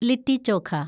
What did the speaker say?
Litty chokha